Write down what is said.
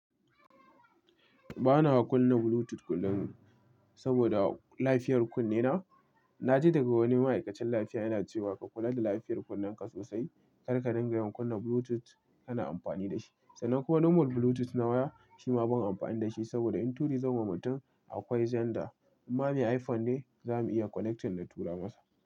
Ba na kunna Bluetooth kullum saboda lafiyar kunne na. Na ji daga wani ma'aikacin lafiya yana cewa ka kula da lafiyar kunnenka sosai, kar ka dinga yin kunnan Bluetooth kana amfani da shi. Sannan kuma normal Bluetooth nawa shi ma ban amfana da shi saboda in turi zan ma mutum akwai zender. In ma mai iPhone ne za mu iya connecting na tura masa.